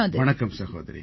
வணக்கம் சகோதரி